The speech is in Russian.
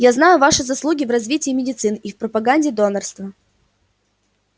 я знаю ваши заслуги в развитии медицины и в пропаганде донорства